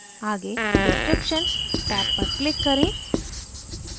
आगे description tab पर click करें